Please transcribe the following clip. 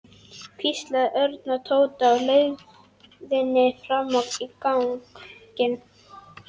hvíslaði Örn að Tóta á leiðinni fram á ganginn.